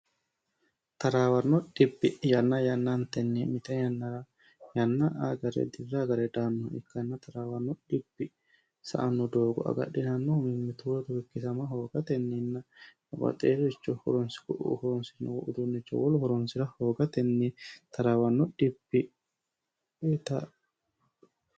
taraawarno dhipi yanna yannantenni mite yannara yanna agare dirra hagare daannoh ikkanna taraawanno dhipi sa anno doogo agadhinannohu mimmituuurotu ikkisama hoogatenninna obaxeericho horonsigu'u foronsinoh uduunnicho wolu foronsi'ra hoogatenni taraawanno dhipi ita